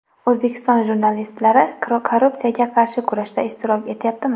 O‘zbek jurnalistlari korrupsiyaga qarshi kurashda ishtirok etyaptimi?.